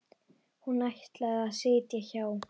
Hún ætlaði að sitja hjá.